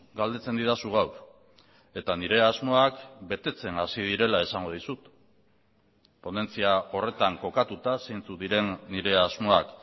galdetzen didazu gaur eta nire asmoak betetzen hasi direla esango dizut ponentzia horretan kokatuta zeintzuk diren nire asmoak